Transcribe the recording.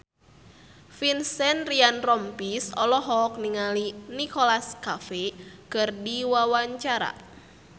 Vincent Ryan Rompies olohok ningali Nicholas Cafe keur diwawancara